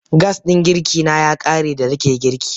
Gas ɗin girkina ya ƙare da nake girki.